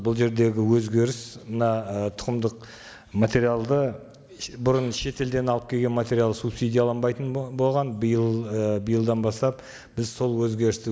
бұл жердегі өзгеріс мына ы тұқымдық материалды бұрын шетелден алып келген материал субсидиланбайтын болған биыл ы биылдан бастап біз сол өзгерісті